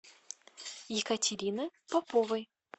екатерины поповой